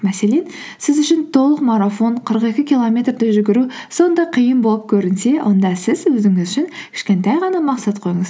мәселен сіз үшін толық марафон қырық екі километрді жүгіру сондай қиын болып көрінсе онда сіз өзіңіз үшін кішкентай ғана мақсат қойыңыз